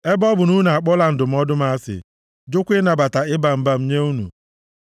ebe ọ bụ na unu akpọla ndụmọdụ m asị, jụkwa ịnabata ịba mba m nye unu,